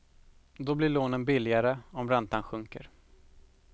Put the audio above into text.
Då blir lånen billigare om räntan sjunker.